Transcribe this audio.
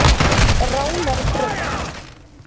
Ránarbraut